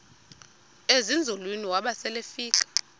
ezinzulwini waba selefika